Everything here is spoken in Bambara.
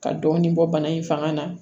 Ka dɔɔnin bɔ bana in fanga na